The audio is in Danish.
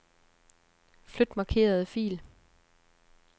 Flyt markerede fil.